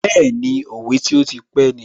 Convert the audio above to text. Bẹ́ẹ̀ni, òwe tí ó ti pé ni